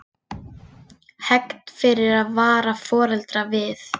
Hegnt fyrir að vara foreldra við